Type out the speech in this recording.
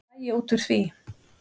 Hvað fæ ég út úr því?